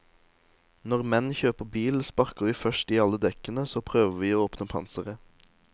Når menn kjøper bil, sparker vi først i alle dekkene, så prøver vi å åpne panseret.